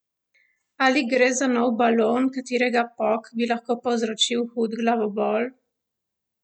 Ali gre za nov balon, katerega pok bi lahko povzročil hud glavobol?